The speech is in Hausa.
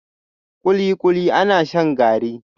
kulikuli ana shan gari